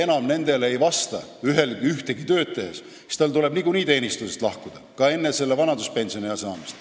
Kui inimene enam ei vasta töö tegemiseks kehtestatud tingimustele, siis tal tuleb niikuinii teenistusest lahkuda, ka enne vanaduspensionile jäämist.